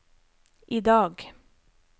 idag